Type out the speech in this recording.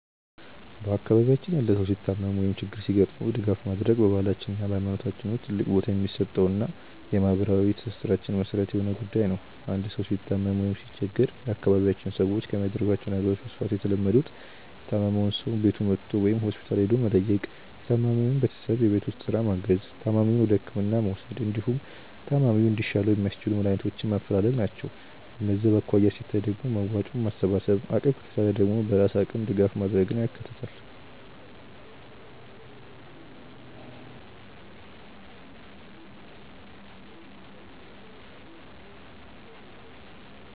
በአካባቢያችን ያለ ሰው ሲታመም ወይም ችግር ሲገጥመው ድጋፍ ማድረግ በባህላችን እና በሃይማኖታችን ውስጥ ትልቅ ቦታ የሚሰጠውና የማህበራዊ ትስስራችን መሰረት የሆነ ጉዳይ ነው። አንድ ሰው ሲታመም ወይም ሲቸገር የአካባቢያችን ሰዎች ከሚያደርጓቸው ነገሮች በስፋት የተለመዱት:- የታመመውን ሰው ቤቱ መጥቶ ወይም ሆስፒታል ሄዶ መጠየቅ፣ የታማሚውን ቤተሰብ የቤት ውስጥ ስራ ማገዝ፣ ታማሚውን ወደህክምና መውሰድ፣ እንዲሁም ታማሚው እንዲሻለው የሚያስችሉ መድሃኒቶችን ማፈላለግ ናቸው። በገንዘብ አኳያ ሲታይ ደግሞ መዋጮ ማሰባሰብን፣ አቅም ከቻለ ደግሞ በራስ አቅም ድጋፍ ማድረግን ያካትታል።